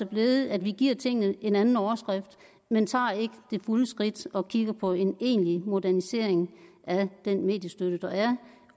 blevet at vi giver tingene en anden overskrift men tager ikke det fulde skridt og kigger på en egentlig modernisering af den mediestøtte der er